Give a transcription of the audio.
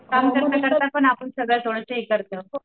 काम करता करता पण आपण सगळं